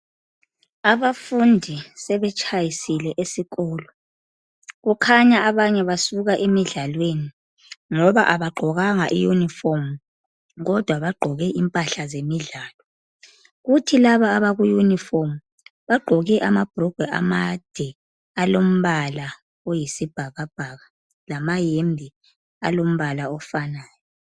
Abafundi sebetshayisile esikolo. Kukhanya abanye basuka emidlalweni ngoba abagqokanga iyunifomu kodwa bagqoke impahla zemidlalo. Kuthi laba abakuyunifomu bagqoke amabhurugwe amade alombala oyisibhakabhaka lamahembe alombala ofanayo.